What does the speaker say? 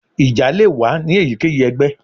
Ija le wa ni eyikeyi ẹgbẹ